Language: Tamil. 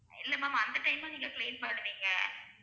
இல்ல ma'am அந்த time உம் நீங்க clean பண்ணுவீங்க